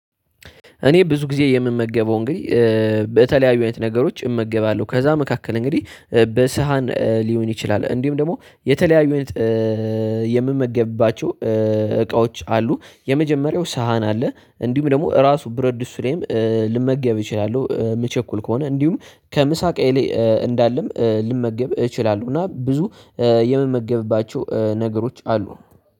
እኔ ብዙ ጊዜ የምመገበው እንግዲህ በተለያዩ አይነት ነገሮች እመገባለሁ። ከዛ መካከል እንግዲህ በሳህን ሊሆን ይችላል እንዲሁም ደግሞ የተለያዩ የምመገብባቸው እቃዎች አሉ። የመጀመሪያው ሳህን አለ እንዲሁም ደግሞ እራሱ ብረት ድስትም ልመገብ እችላለሁ። የምቸኩል ከሆነ እንዲሁም ከምሳቄ ላይ እንዳለም ልመገብ እችላለሁ። እና ብዙ የምመገብባቸው ነገሮች አሉ